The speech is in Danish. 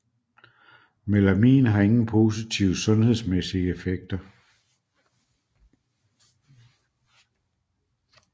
Melamin har ingen positive sundhedsmæssige effekter